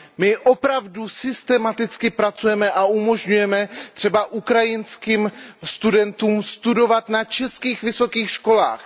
My opravdu systematicky pracujeme a umožňujeme třeba ukrajinským studentům studovat na českých vysokých školách.